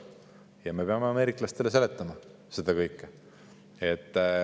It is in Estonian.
Ja me peame ameeriklastele seletama seda kõike.